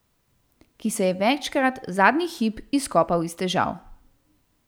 Ki se je večkrat zadnji hip izkopal iz težav.